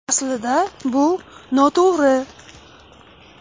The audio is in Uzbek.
Aslida bu noto‘g‘ri.